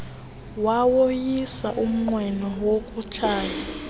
wawoyisa umnqweno wokutshaya